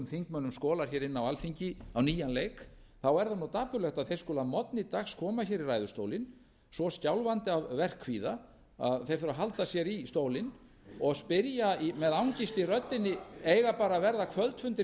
þingmönnum skolar inn á alþingi á nýjan leik þá er það dapurlegt að þeir skuli að morgni dags koma hingað í ræðustólinn svo skjálfandi af verkkvíða að þeir þurfa að halda sér í stólinn og spyrja með angist í röddinni eiga bara að verða kvöldfundir